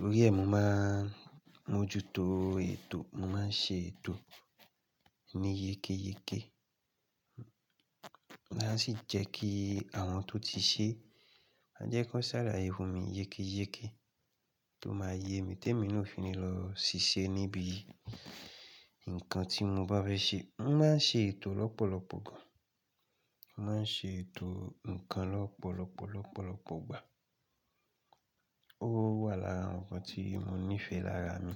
Lórí ẹ̀, mo máa mójú tó ètò, mo máa ń ṣe ètò ní yékéyéké. Màá sì jẹ́ kí àwọn tó ti ṣe, máa jẹ́ kó ṣàlàyé fún mi yékéyéké tó máa yé mi tí èmi náà ò fi ní lọ ṣiṣẹ́ níbi nǹkan tí mo bá fẹ́ ṣe. Mo máa ń ṣe ètò lọ́pọ̀lọpọ̀ gán. Mo máa ń ṣe ètò nǹkan lọ́pọ̀lọpọ̀, lọ́pọ̀lọpọ̀ ìgbà. Ó wà lára àwọn nǹkan tí mo nífẹ̀ẹ́ lára mi.